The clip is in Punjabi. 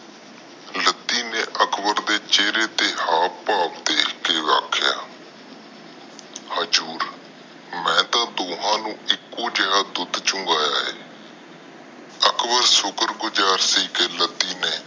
ਅਕਬਰ ਦੇ ਚੇਰੇ ਦੇ ਹੈ ਪਾ ਦੇਖਦੇ ਕਿਹ ਹਗਾਜ਼ੂਰ ਮੈਂ ਤਾ ਦੋਹਾ ਨੂੰ ਇਕੋ ਜਿਹਾ ਦੁੱਧ ਚੁੰਗੀਆਂ ਆ